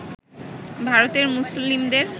ভারতের মুসলিমদের